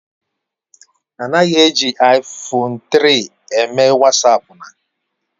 Anaghị eji iPhone 3 eme Wasapu na